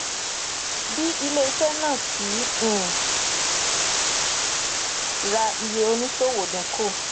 bí ilé iṣẹ náà kì í um ra iye òníṣòwò dínkù